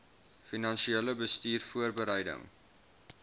finansiële bestuur voorbereiding